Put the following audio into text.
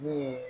N'o ye